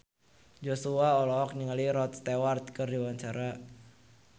Joshua olohok ningali Rod Stewart keur diwawancara